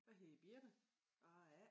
Jeg hedder Birthe og jeg er A